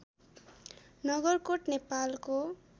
नगरकोट नेपालको